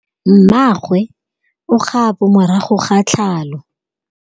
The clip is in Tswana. Mmagwe o kgapô morago ga tlhalô.